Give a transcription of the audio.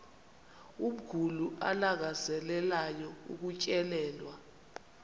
umguli alangazelelayo ukutyelelwa